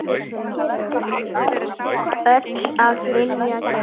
Öll af vilja gerð.